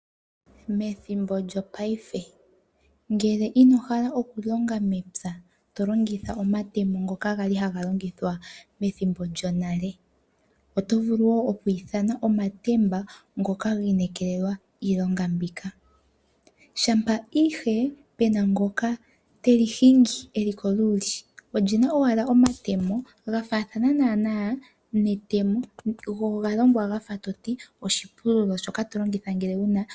Methimbo lyo paife ngele ino hala oku longa mepya , to longitha omatemo ngoka gali haga longithwa methimbo lyo nale ,oto vulu woo okwii thana omatemba ngoka giinekelelwa iilonga mbika. Shampa ihe pena ngoka teli hingi eli koluli, olina owala omatemo ga faathana naana netemo.